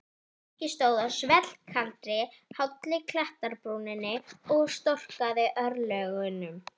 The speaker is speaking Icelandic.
Nikki stóð á svellkaldri og hálli klettabrúninni og storkaði örlögunum.